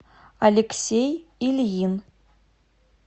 алексей ильин